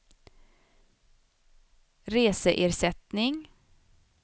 reseersättning